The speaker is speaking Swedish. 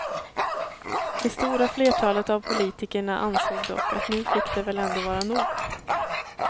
Det stora flertalet av politikerna ansåg dock att nu fick det väl ändå vara nog.